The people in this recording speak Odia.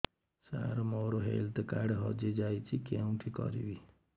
ସାର ମୋର ହେଲ୍ଥ କାର୍ଡ ହଜି ଯାଇଛି କେଉଁଠି କରିବି